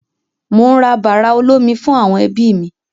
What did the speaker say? Mò ń ra bàrà olómi fún àwọn ẹbí mi.